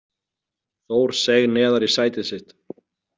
Þór seig neðar í sætið sitt.